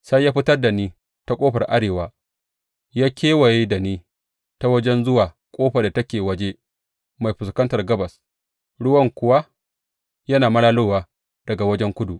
Sai ya fitar da ni ta ƙofar arewa ya kewaye da ni ta waje zuwa ƙofar da take waje mai fuskantar gabas, ruwan kuwa yana malalowa daga wajen kudu.